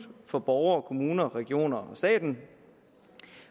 for borgere kommuner regioner og staten